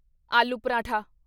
aloo paratha